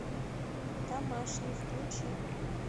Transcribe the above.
домашний включи